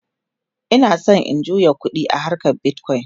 Ina San in juya ƙuɗi a harkan bitcoin